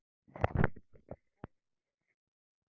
Berghildur: Hefurðu farið áður á skíði?